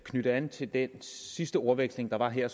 knytte an til den sidste ordveksling der var her